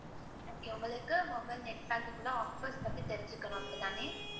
Okay உங்களுக்கு mobile net pack க்குள்ள offers பத்தி தெரிஞ்சுக்கணும் அப்படி தானே?